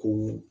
Ko